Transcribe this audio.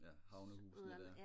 ja havnehusene der